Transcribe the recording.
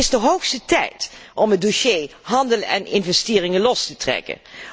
Het is de hoogste tijd om het dossier handel en investeringen vlot te trekken.